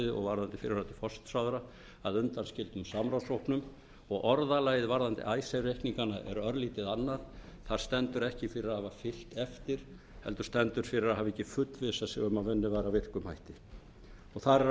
varðandi fyrrverandi forsætisráðherra að undanskildum samráðshópnum og orðalagið varðandi icesave reikningana er örlítið annað þar stendur ekki fyrir að hafa fylgt eftir heldur stendur fyrir að hafa ekki fullvissað sig um að unnið var með